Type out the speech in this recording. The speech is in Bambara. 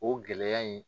O gɛlɛya in